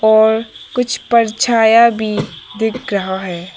और कुछ पर छाया भी दिख रहा है।